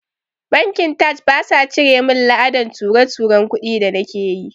Bankin taj basa cire min la'adan ture-turen kudi da nake yi